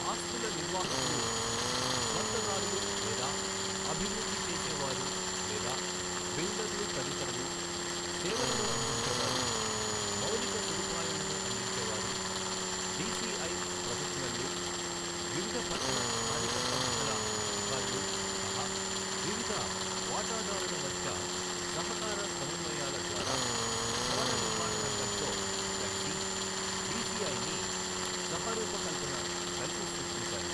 ఆస్తుల నిర్వాహకులు స్వంతదారులు లేదా అభివృద్ధి చేసేవారు లేదా బిల్డర్లు తదితరులు, సేవలను అందించేవారు, మౌలిక సదుపాయాలను అందించే వారు, డిసిఐ ప్రొఫెషనళ్ళు, వివిధ పట్టణ స్థానిక సంస్థల అధకారులు సహా వివిధ వాటాదారుల మధ్య సహకార సమన్వయాల ద్వారా భవన నిర్మణరంగంతో కలిసి డిసిఐని సహరూకల్పన, కలిసి సృష్టించాలి.